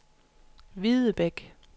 Videbæk